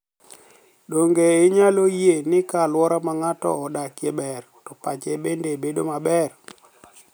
Donige iniyalo yie nii ka alwora ma nig'ato odakie ber, to pache benide bedo ma ber?